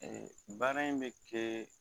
Ɛɛ baara in bɛ kɛ